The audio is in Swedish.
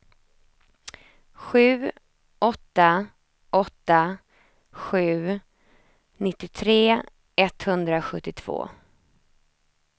sju åtta åtta sju nittiotre etthundrasjuttiotvå